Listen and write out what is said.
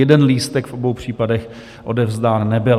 Jeden lístek v obou případech odevzdán nebyl.